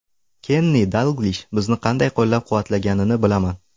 Kenni Dalglish bizni qanday qo‘llab-quvvatlaganini bilaman.